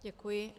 Děkuji.